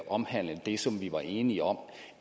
omhandlende det som vi var enige om